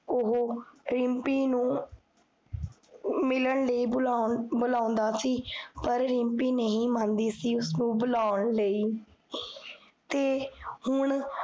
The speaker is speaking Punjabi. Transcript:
ਓਹੋ ਰਿਮ੍ਪੀ ਨੂ ਮਿਲਣ ਲਈ ਬੁਲੋੰਦਾ ਸੀ ਪਰ ਰਿਮ੍ਪੀ ਨਹੀ ਮੰਦੀ ਸੀ, ਉਸਨੁ ਬੁਲੋੰਨ ਲਈ ਤੇ ਹੁਣ